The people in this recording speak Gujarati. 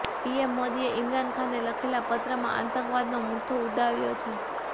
પીએમ મોદીએ ઇમરાન ખાનને લખેલા પત્રમાં આતંકવાદનો મુદ્દો ઉઠાવ્યો છે